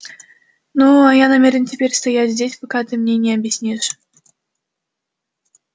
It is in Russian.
ну а я намерен теперь стоять здесь пока ты мне не объяснишь